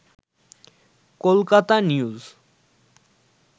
Kolkata news